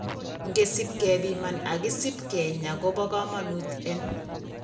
Ingesip kebiman ak kisip kinyaa kobo kamanut en